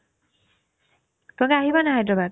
তোমালোকে আহিবানে নাই সেইটোবাৰ